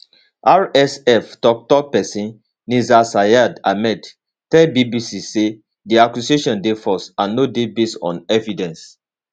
rsf toktok pesin nizar sayed ahmed tell bbc say di accusation dey false and no dey based on evidence